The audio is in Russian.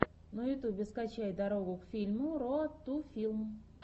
на ютюбе скачай дорогу к фильму роад ту филм